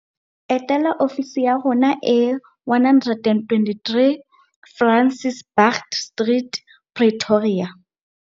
Etela ofisi ya rona e 123 Francis Baard Street, Pretoria.